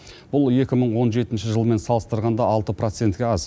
бұл екі мың он жетінші жылмен салыстырғанда алты процентке аз